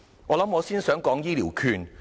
我想先談談醫療券。